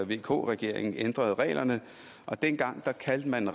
vk regeringen ændrede reglerne dengang kaldte man